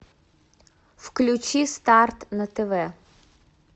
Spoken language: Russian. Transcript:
включи старт на тв